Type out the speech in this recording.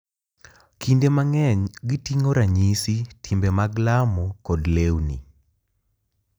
Kinde mang’eny, giting’o ranyisi, timbe mag lamo, kod lewni.